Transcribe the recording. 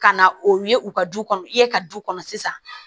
Ka na o ye u ka du kɔnɔ ye ka du kɔnɔ sisan